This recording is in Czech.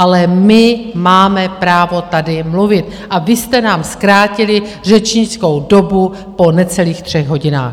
Ale my máme právo tady mluvit a vy jste nám zkrátili řečnickou dobu po necelých třech hodinách.